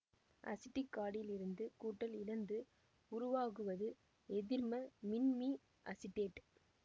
acetic காடியில் இருந்து கூட்டல் இழந்து உருவாகுவது எதிர்ம மின்மி அசிட்டேட்